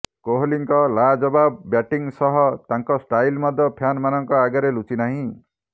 କୋହଲିଙ୍କ ଲାଜବାବ ବ୍ୟାଟିଂ ସହ ତାଙ୍କ ଷ୍ଟାଇଲ୍ ମଧ୍ୟ ଫ୍ୟାନଙ୍କ ଆଗରେ ଲୁଚି ନାହିଁ